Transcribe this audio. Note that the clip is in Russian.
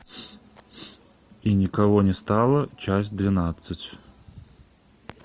и никого не стало часть двенадцать